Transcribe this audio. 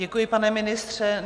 Děkuji, pane ministře.